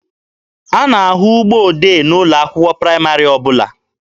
A na-ahụ ụgbọ odee n'ụlọ akwụkwọ praịmarị ọbụla.